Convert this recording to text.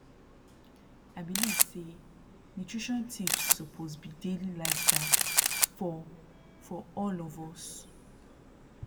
i believe say nutrition tips suppose be daily lifestyle for for all of us